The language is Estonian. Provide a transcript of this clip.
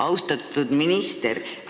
Austatud minister!